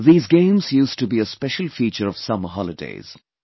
These games used to be a special feature of summer holidays